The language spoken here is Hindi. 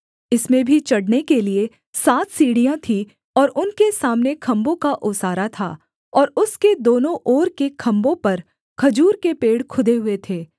इसमें भी चढ़ने के लिये सात सीढ़ियाँ थीं और उनके सामने खम्भों का ओसारा था और उसके दोनों ओर के खम्भों पर खजूर के पेड़ खुदे हुए थे